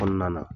Kɔnɔna na